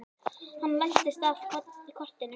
Hann læddist að kortinu.